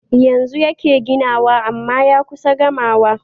Yanzu yake ginawa amma ya kusa gamawa